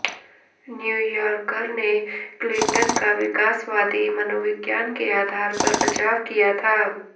New Yorker ने Clinton का विकासवादी मनोविज्ञान के आधार पर बचाव किया था